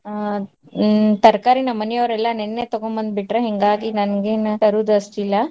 ಆ ಹ್ಮ್ ತರಕಾರಿ ನಮ್ಮನಿಯವ್ರೆಲ್ಲಾ ನಿನ್ನೆ ತಗೊಂಡ್ ಬಂದ್ಬಿಟ್ರ್ ಹಿಂಗಾಗಿ ನಂಗೇನ್ ತರುದ್ ಅಷ್ಟಿಲ್ಲಾ.